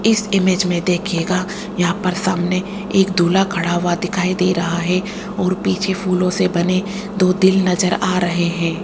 इस इमेज मे देखिएगा यहां पर सामने एक दूल्हा खड़ा हुआ दिखाई दे रहा है और पीछे फूलों से बने दो दिल नज़र आ रहे है।